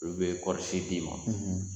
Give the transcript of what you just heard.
Olu bɛ kɔɔrisi d'i ma